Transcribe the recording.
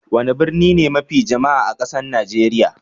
Wani birni ne mafi jama'a a kasan Nijeriya?